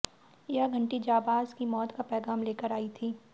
यह घण्टी जांबाज की मौत का पैगाम लेकर आई थी